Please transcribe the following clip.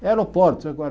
Aeroportos, agora.